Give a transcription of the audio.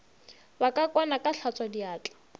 ba ka kwana ka hlatswadiatla